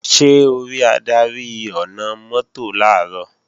Ṣé o rí adarí ọ̀nà-mọ́tò làárọ̀?